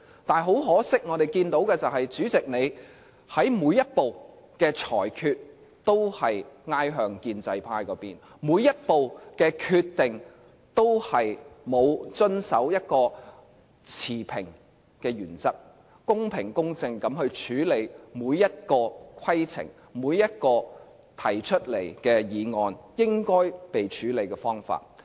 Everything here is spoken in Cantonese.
但很可惜，我們看到主席在每一步的裁決，都是傾向建制派那邊；每一步的決定，都沒有遵守一個持平的原則，公平公正地處理每一個規程、每一項提出的議案，沒有按應該處理的方法去處理。